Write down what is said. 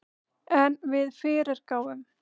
En við fyrirgáfum